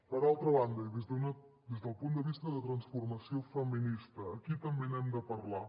per altra banda i des del punt de vista de transformació feminista aquí també n’hem de parlar